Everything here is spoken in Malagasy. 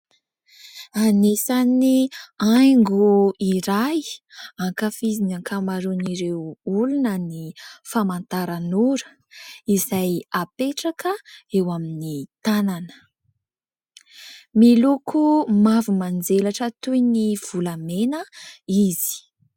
Anisan'ny haingo iray ankafizin'ny ankamaroan'ireo olona ny famantaranora izay apetraka eo amin'ny tanana. Miloko mavo manjelatra toy ny volamena izy.